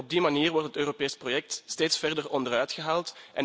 Op die manier wordt het Europees project steeds verder onderuitgehaald.